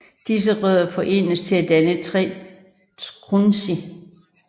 Disse rødder forenes til at danne 3 trunci